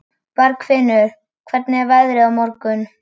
Bergfinnur, hvernig er veðrið á morgun?